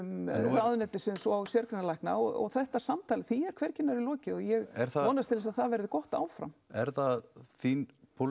ráðuneytisins og sérgreinalækna og þetta samtal því er hvergi nærri lokið og ég vonast til að það verði gott áfram er það þín